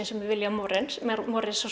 með William